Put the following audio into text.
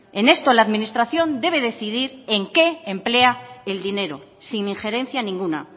en esto la administración debe decidir en qué emplea el dinero sin injerencia ninguna